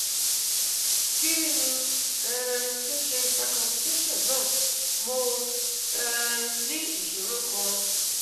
Ki n um to se circumcision na, mo um ni isoro kan